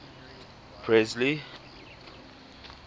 presley